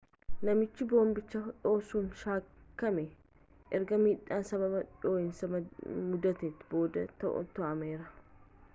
namichii boombicha dhoosuun shakkame ergaa midhaan sababa dho'iinsan muddaten booda to'atameera